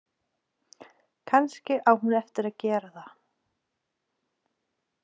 Kannski á hún eftir að gera það.